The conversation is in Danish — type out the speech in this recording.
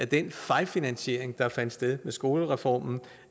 den fejlfinansiering der fandt sted med skolereformen